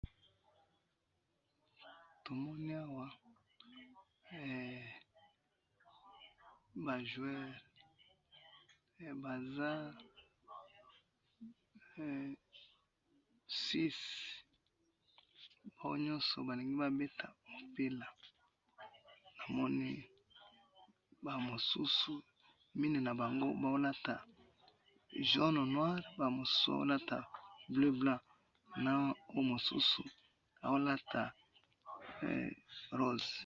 Eh! Tomoni awa eh! ba joueurs, eee Baza eee 6, baoyo nyonso balingi babeta mupila, namoni bamosusu, mine nabango baolata jaune noire, bamususu bazo lata bleue blanc, na oyo mususu aolata eee rose.